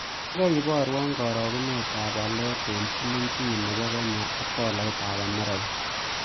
Gagai iborwon karagunetap walet eng' silingit ne po kenya ak tolaitap amerika